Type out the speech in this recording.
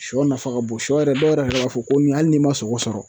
Sɔ nafa ka bon sɔ yɛrɛ dɔw yɛrɛ b'a fɔ ko nin hali n'i ma sogo sɔrɔ